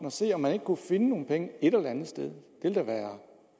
og se om man ikke kunne finde nogle penge et eller andet sted